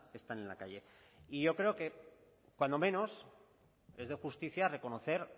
están en la calle y yo creo que cuando menos es de justicia reconocer